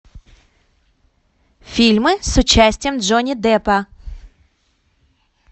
фильмы с участием джонни деппа